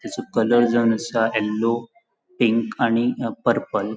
तेचो कलर जावन आसा येल्लो पिंक आणि अ पर्पल .